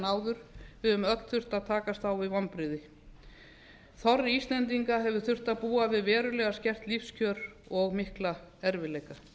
áður við höfum öll þurft að takast á við vonbrigði þorri íslendinga hefur þurft að búa við verulega skert lífskjör og mikla erfiðleika